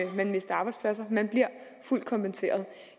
man mister arbejdspladser man bliver fuldt kompenseret